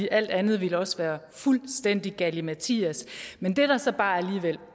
alt andet ville også være fuldstændig galimatias men det der så bare alligevel